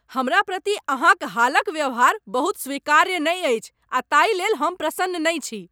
हमरा प्रति अहाँक हालक व्यवहार बहुत स्वीकार्य नहि अछि आ ताहि लेल हम प्रसन्न नहि छी।